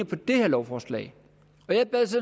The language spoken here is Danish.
på det her lovforslag jeg bad